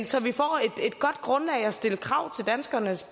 så vi får et godt grundlag at stille krav til danskernes